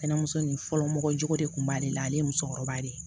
Kɛnɛmuso nin fɔlɔ mɔgɔ jo de kun b'ale la ale ye musokɔrɔba de ye